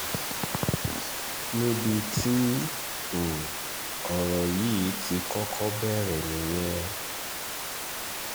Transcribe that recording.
níbi tí um ọ̀rọ̀ yìí ti kọ́kọ́ bẹ̀rẹ̀ nìyẹn